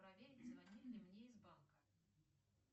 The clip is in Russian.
проверь звонили ли мне из банка